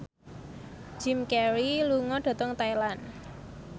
Jim Carey lunga dhateng Thailand